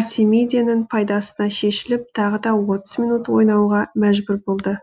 артмедияның пайдасына шешіліп тағы да отыз минут ойнауға мәжбүр болды